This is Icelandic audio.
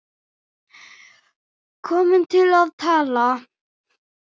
Komin til að tala.